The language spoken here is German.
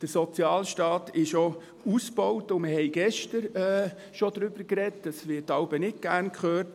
Der Sozialstaat ist auch ausgebaut, und wir haben schon gestern über etwas gesprochen, das wir manchmal nicht gern hören: